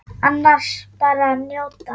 Annars bara að njóta.